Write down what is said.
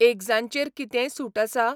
एग्जांचेर कितेंय सूट आसा ?